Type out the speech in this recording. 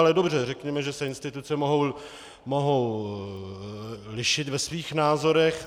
Ale dobře, řekněme, že se instituce mohou lišit ve svých názorech.